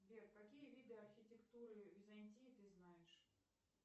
сбер какие виды архитектуры византии ты знаешь